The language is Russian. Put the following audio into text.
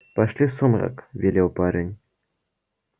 пошли в сумрак велел парень